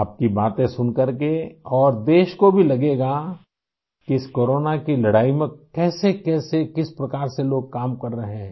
आपकी बातें सुनकर के और देश को भी लगेगा कि इस कोरोना की लड़ाई में कैसे कैसे किस प्रकार से लोग काम कर रहे हैं